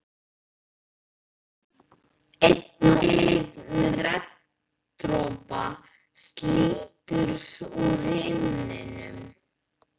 Einn og einn regndropa slítur úr himninum.